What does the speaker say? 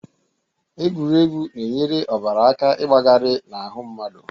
Egwuregwu na-enyere ọbara aka ịgbagarị n'ahụ mmadụ